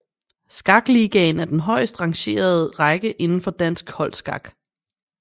Skakligaen er den højeste rangerende række indenfor dansk holdskak